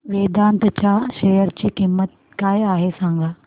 वेदांत च्या शेअर ची किंमत काय आहे सांगा